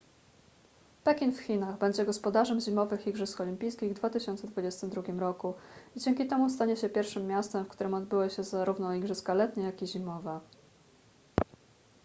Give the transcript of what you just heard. pekin w chinach będzie gospodarzem zimowych igrzysk olimpijskich w 2022 roku i dzięki temu stanie się pierwszym miastem w którym odbyły się zarówno igrzyska letnie jak i zimowe